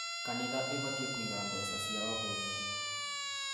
Kanitha ĩbatiĩ kũiga mbeca ciayo bengi